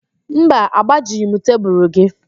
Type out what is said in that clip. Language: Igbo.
Mba, agbajighị m tebulu gị